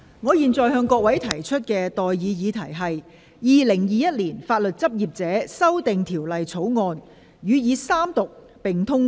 我現在向各位提出的待議議題是：《2021年法律執業者條例草案》予以三讀並通過。